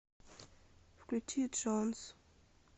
включи джонс